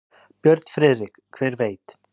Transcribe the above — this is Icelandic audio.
Björn Friðrik: Hver veit.